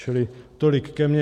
Čili tolik ke mně.